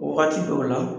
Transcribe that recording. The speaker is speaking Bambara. Wagati dɔw la